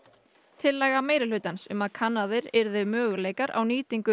tillaga minnihlutans um að kannaðir yrðu möguleikar á nýtingu